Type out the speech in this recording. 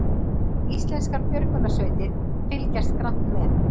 Íslenskar björgunarsveitir fylgjast grannt með